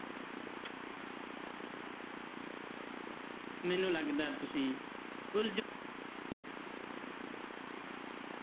ਮੈਨੂੰ ਲੱਗਦਾ ਤੁਸੀਂ ਉਲਝ,